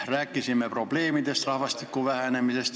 Rääkisime probleemidest, rahvastiku vähenemisest.